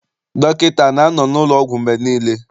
Dọkịta ana-anọ n'ụlọọgwụ mgbe niile?